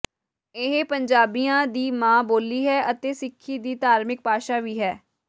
ਇਹ ਪੰਜਾਬੀਆਂ ਦੀ ਮਾਂ ਬੋਲੀ ਹੈ ਅਤੇ ਸਿੱਖੀ ਦੀ ਧਾਰਮਿਕ ਭਾਸ਼ਾ ਵੀ ਹੈ